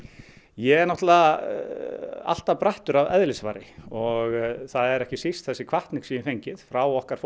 ég er náttúrulega alltaf brattur að eðlisfari og það er ekki síst þessi hvatning sem ég hef fengið frá okkar